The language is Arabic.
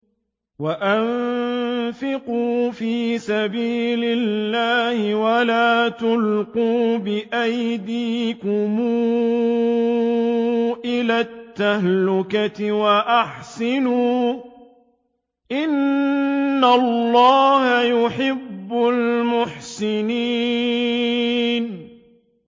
وَأَنفِقُوا فِي سَبِيلِ اللَّهِ وَلَا تُلْقُوا بِأَيْدِيكُمْ إِلَى التَّهْلُكَةِ ۛ وَأَحْسِنُوا ۛ إِنَّ اللَّهَ يُحِبُّ الْمُحْسِنِينَ